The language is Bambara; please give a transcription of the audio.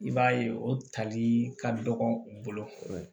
I b'a ye o talii ka dɔgɔ u bolo